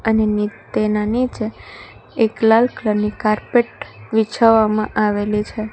અને તેના નીચે એક લાલ કલર ની કાર્પેટ વિછાવવામાં આવેલી છે.